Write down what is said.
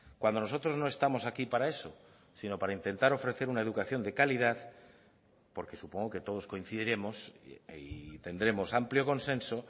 cuando nosotros no estamos aquí para eso sino para intentar ofrecer una educación de calidad porque supongo que todos coincidiremos y tendremos amplio consenso